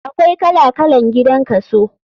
Akwai kala kalan gidan kaso.